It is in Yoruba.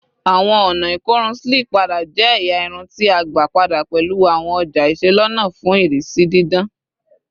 Awọn ọna ikorun Slick pada jẹ ẹya irun ti a gba pada pẹlu awọn ọja iselona fun irisi didan